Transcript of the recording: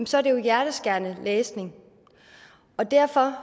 så er det jo hjerteskærende læsning derfor